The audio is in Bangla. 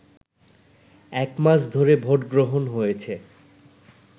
একমাস ধরে ভোটগ্রহণ হয়েছে